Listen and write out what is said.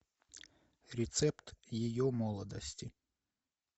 рецепт ее молодости